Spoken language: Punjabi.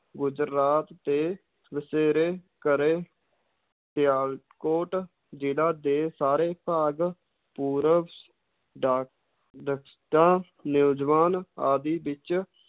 ਗੁਜਰਾਤ ਤੇ ਵਸੇਰੇ ਕਰੇ, ਸਿਆਲਕੋਟ ਜ਼ਿਲ੍ਹਾ ਦੇ ਸਾਰੇ ਭਾਗ ਪੂਰਬ ਆਦਿ ਵਿੱਚ